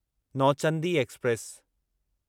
Nauchandi express